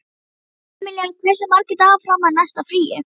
Emilía, hversu margir dagar fram að næsta fríi?